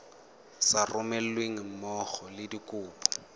sa romelweng mmogo le dikopo